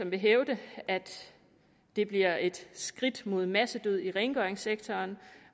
vil hævde at det bliver et skridt mod massedød i rengøringssektoren